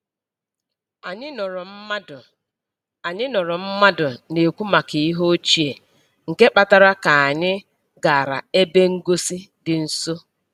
Anyị nụrụ mmadụ Anyị nụrụ mmadụ na-ekwu maka ihe ochie, nke kpatara ka anyị gara ebe ngosi dị nso.